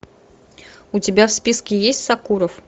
у тебя в списке есть сакуров